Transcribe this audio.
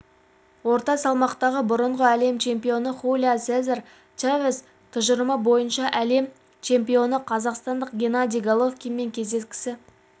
орта салмақтағы бұрынғы әлем чемпионы хулио сезар чавес тұжырымы бойынша әлем чемпионы қазақстандық геннадий головкинмен кездескісі